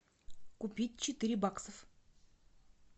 купить четыре баксов